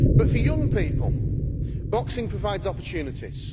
For young people boxing provides opportunities.